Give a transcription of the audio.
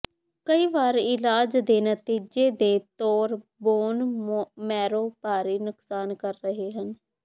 ਕਈ ਵਾਰ ਇਲਾਜ ਦੇ ਨਤੀਜੇ ਦੇ ਤੌਰ ਬੋਨ ਮੈਰੋ ਭਾਰੀ ਨੁਕਸਾਨ ਕਰ ਰਹੇ ਹਨ